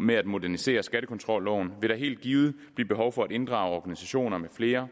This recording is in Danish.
med at modernisere skattekontrolloven vil der helt givet blive behov for at inddrage organisationer med flere